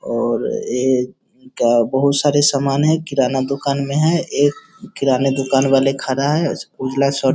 और एक बहुत सारे सामान हैं किराना दुकान में हैं एक किराने दुकान वाले खड़ा हैं उजला शर्ट --